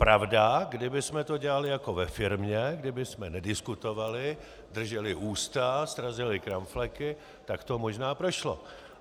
Pravda, kdybychom to dělali jako ve firmě, kdybychom nediskutovali, drželi ústa, srazili kramfleky, tak to možná prošlo.